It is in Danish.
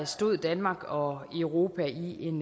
stod danmark og europa i en